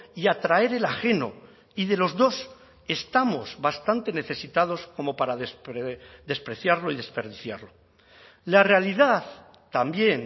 y atraer el ajeno y de los dos estamos bastante necesitados como para despreciarlo y desperdiciarlo la realidad también